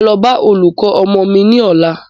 Máa lọ bá olùkọ́ ọmọ mí ní ọ̀la.